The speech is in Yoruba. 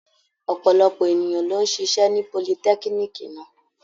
Ọ̀pọ̀lọpọ̀ ènìyàn ló ń ṣiṣẹ́ ní politẹ́kíníìkì náà.